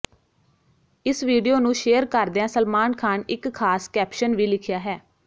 ਇਸ ਵੀਡੀਓ ਨੂੰ ਸ਼ੇਅਰ ਕਰਦਿਆਂ ਸਲਮਾਨ ਖਾਨ ਇਕ ਖਾਸ ਕੈਪਸ਼ਨ ਵੀ ਲਿਖਿਆ ਹੈ